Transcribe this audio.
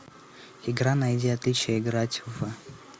игра найди отличия играть в